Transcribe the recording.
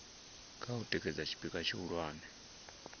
kha u tikedza tshipikwa tshihulwane